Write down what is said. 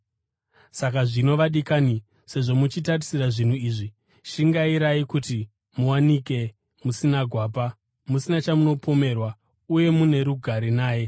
Saka zvino, vadikani, sezvo muchitarisira zvinhu izvi, shingairai kuti muwanikwe musina gwapa, musina chamunopomerwa uye muno rugare naye.